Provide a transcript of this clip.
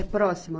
É próxima?